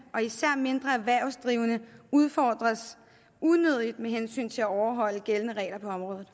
og især mindre erhvervsdrivende udfordres unødigt med hensyn til at overholde gældende regler på området